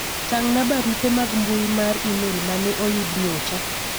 tang'na barupe mag mbui mar email mane oyud nyocha